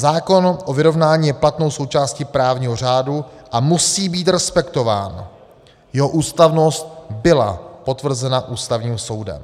Zákon o vyrovnání je platnou součástí právního řádu a musí být respektován, jeho ústavnost byla potvrzena Ústavním soudem.